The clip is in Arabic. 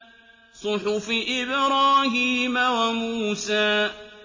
صُحُفِ إِبْرَاهِيمَ وَمُوسَىٰ